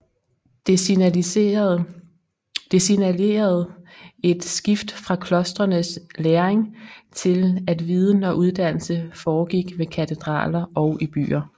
Det signalerede et skift fra klostrenes læring til at viden og uddannelse foregik ved katedraler og i byer